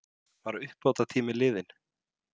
Var uppbótartíminn liðinn?